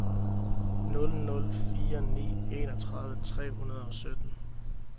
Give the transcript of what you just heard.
nul nul fire ni enogtredive tre hundrede og sytten